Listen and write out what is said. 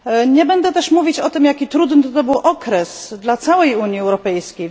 Nie będę też mówić o tym, jak trudny to był okres dla całej Unii Europejskiej.